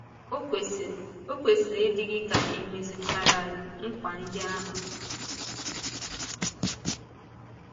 Ọ kwesịrị Ọ kwesịrị ịdị gị ka e mezúchàalárị nkwa ndị ahụ.